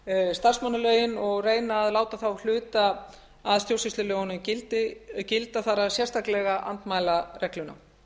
starfsmannalögin og reyna að láta þá hluta af stjórnsýslulögunum gilda þar sérstaklega andmælaregluna það